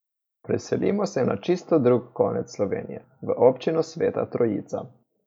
Preselimo se na čisto drugi konec Slovenije, v občino Sveta Trojica.